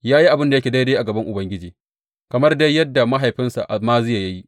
Ya yi abin da yake daidai a gaban Ubangiji, kamar dai yadda mahaifinsa Amaziya ya yi.